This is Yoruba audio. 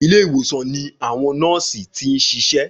Ilé ìwòsan ní àwọn nọ́ọ̀sì tí n sisé